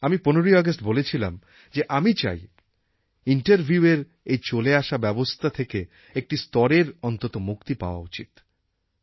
আমি ১৫ই অগাস্ট বলেছিলাম যে আমি চাই ইন্টারভিউএর এই চলে আসা ব্যবস্থা থেকে একটি স্তরের অন্তত মুক্তি পাওয়া উচিত